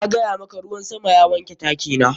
Na gaya maka, ruwan sama ya wanke taki na.